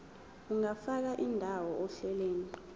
ungafaka indawo ohlelweni